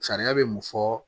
Sariya bɛ mun fɔ